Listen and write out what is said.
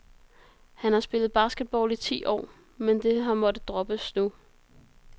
Han har spillet basketball i ti år, men det har måttet droppe nu.